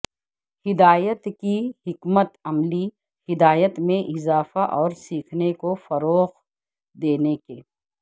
ہدایت کی حکمت عملی ہدایت میں اضافہ اور سیکھنے کو فروغ دینے کے